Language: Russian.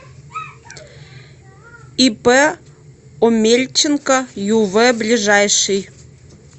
ип омельченко юв ближайший